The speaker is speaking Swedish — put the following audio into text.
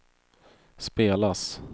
spelas